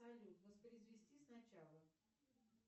салют воспроизвести сначала